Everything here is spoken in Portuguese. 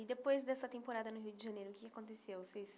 E depois dessa temporada no Rio de Janeiro, o que aconteceu? vocês